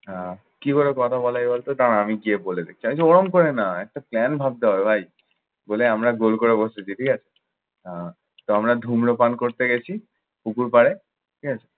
আহ কিভাবে কথা বলে, এবার তুই দাঁড়া আমি গিয়ে বলে দেখছি। আমি বলছি ওরকম করে না, একটা plan ভাবতে হবে ভাই। বলে আমরা গোল করে বসতেছি, ঠিক আছে। আহ তো আমরা ধূম্রপান করতে গেছি পুকুরপাড়ে ঠিক আছে?